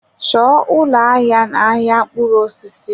Chọọ ụlọ ahịa n-ahịa mkpụrụ osisi!